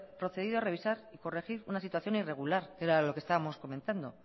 procedido a revisar corregir una situación irregular que era lo que estábamos comentando